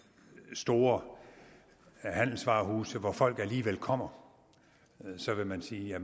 store handelsvarehuse hvor folk alligevel kommer og så vil man sige at